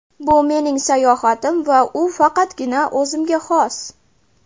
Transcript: Bu mening sayohatim va u faqatgina o‘zimga xos.